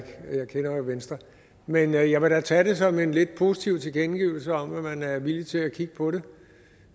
kender jo venstre men jeg jeg vil da tage det som en lidt positiv tilkendegivelse om at man er villig til at kigge på det